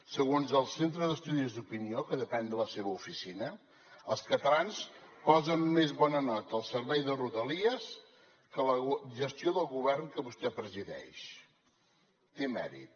segons el centre d’estudis d’opinió que depèn de la seva oficina els catalans posen més bona nota al servei de rodalies que a la gestió del govern que vostè presideix té mèrit